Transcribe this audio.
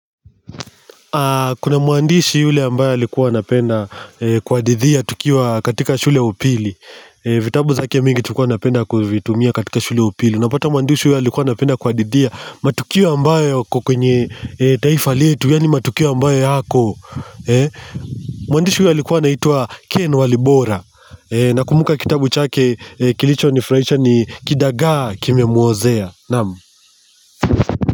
Kuna mwandishi yule ambayo alikuwa napenda kuhadidhia tukiwa katika shule upili vitabu zake mingi tukua napenda kwa vitumia katika shule upili. Napata muandishi yule alikuwa napenda kwa didhia Matukiwa ambayo yenye kwenye taifa letu. Yani matukio ambayo yako Muandishi yule alikuwa naitwa Ken Walibora na kumbuka kitabu chake kilicho ni frahisha ni Kidaga kime muozea. Namu.